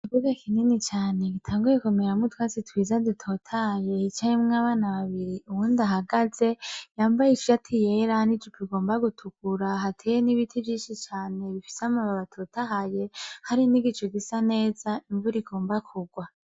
Buge kinini cane gitanguyekomeramwutwasi twiza ditotaye hicahimwe abana babiri uwundi ahagaze yambaye isati yera nijupu igomba gutukura hateye n'ibiti vyinshi cane bifise amababatotahaye hari nigico gisa neza imvura igomba kugwa.